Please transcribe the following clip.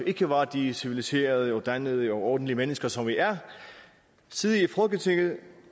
ikke var de civiliserede dannede og ordentlige mennesker som vi er sidde i folketinget